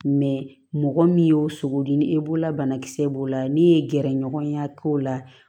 mɔgɔ min y'o sogo di ni e b'o la banakisɛ b'o la ni ye gɛrɛɲɔgɔnya k'o la